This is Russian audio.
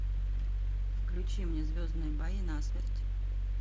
включи мне звездные бои насмерть